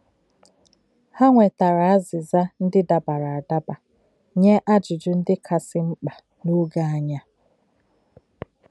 Hà nwètárà àzị́zà̄ ndí̄ dá̄bárá̄ àdábà̄ nyē àjụ̀jụ̀ ndí̄ kásị̄ ḿkpā n’ò̄gé̄ ànyí̄ à.